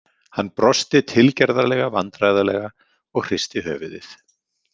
Hann brosti tilgerðarlega vandræðalega og hristi höfuðið.